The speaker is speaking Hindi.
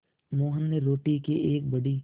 मोहन ने रोटी के एक बड़े